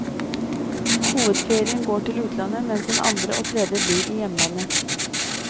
Hovedferien går til utlandet, mens den andre og tredje blir i hjemlandet.